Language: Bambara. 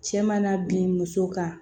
Cɛ mana bin muso kan